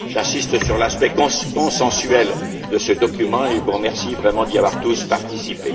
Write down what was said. J'insiste sur l'aspect consensuel de ce document et vous remercie vraiment d'y avoir tous participé.